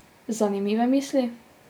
Zanimive misli?